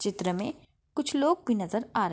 चित्र मे कुछ लोग भी नजर आ रहे है।